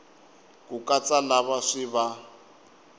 ku katsa lava swi va